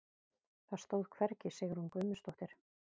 Það stóð hvergi Sigrún Guðmundsdóttir.